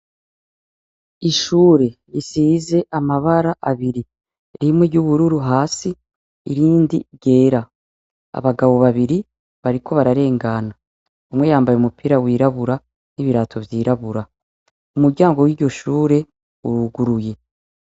Ishure risize amabara abiri rimwe ry'ubururu hasi irindi ryera abagabo babiri bariko bararengana umwe yambaye umupira wirabura n'ibirato vyirabura, umuryango w'iryoshure uruguruye.